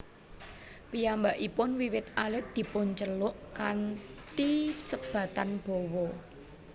Piyambakipun wiwit alit dipunceluk kanthi sebatan Bowo